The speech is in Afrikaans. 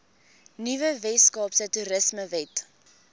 nuwe weskaapse toerismewet